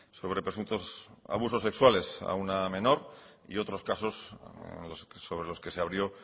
sobre presuntos abusos sexuales a una menor y otros casos sobre los que se abrió